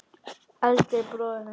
Eldri bróður míns?